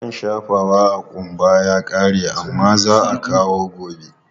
Man shafawa a ƙumba ya ƙare amma za a kawo gobe.